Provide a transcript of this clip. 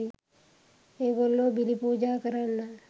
ඒගොල්ලෝ බිලි පූජා කරන්න